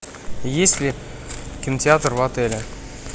есть ли кинотеатр в отеле